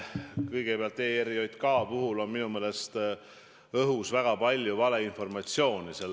Kõigepealt, ERJK ärakaotamise teemal on minu meelest õhus väga palju valeinformatsiooni.